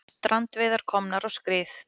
Strandveiðar komnar á skrið